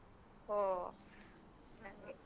ಹೋ ಹಂಗೆ